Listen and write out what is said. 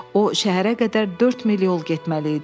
O şəhərə qədər 4 mil yol getməli idi.